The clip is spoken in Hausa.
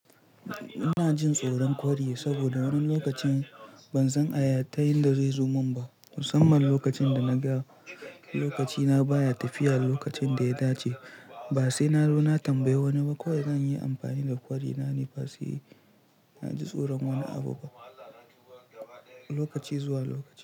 Ina jin tsoron kwari saboda wani lokacin ban san aya ta yadda zai zo mun ba. Musamman lokacin da naga lokaci na baya tafiya lokacin da ya dace ba sai na zo na tambayi wani ba. Kawai zan yi amfani da kwari na ne ba sai na ji tsoron wani abu ba lokaci zuwa lokaci.